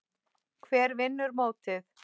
Hver vinnur mótið?